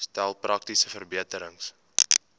stel praktiese verbeterings